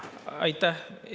Aitäh!